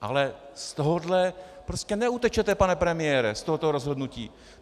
Ale z tohohle prostě neutečete, pane premiére, z tohoto rozhodnutí.